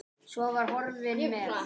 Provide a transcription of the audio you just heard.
Og var horfinn með.